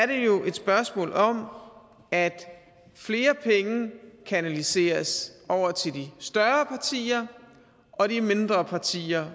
det jo er et spørgsmål om at flere penge kanaliseres over til de større partier og de mindre partier